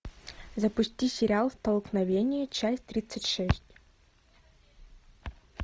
запусти сериал столкновение часть тридцать шесть